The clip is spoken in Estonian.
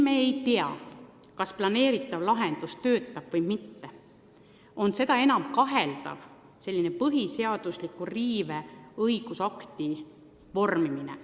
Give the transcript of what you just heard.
Me ei tea, kas plaanitav lahendus töötab või mitte ja seda enam kaheldav on selline põhiseadust riivava õigusakti vormimine.